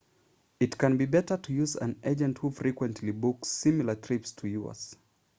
it can be better to use an agent who frequently books similar trips to yours